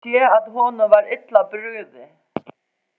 Ég sá að honum var illa brugðið.